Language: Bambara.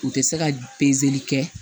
U tɛ se ka pezeli kɛ